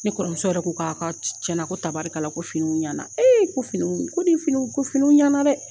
Ne kɔrɔmuso yɛrɛ ko k'a ka cɛna ko tabarikala ko finiiniw ɲɛna ee ko finiw ko ni finiw ɲɛna dɛ